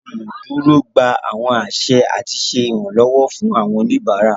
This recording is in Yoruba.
Awọn oluduro gbà awọn aṣẹ ati ṣe iranlọwọ fun awọn oníbárà.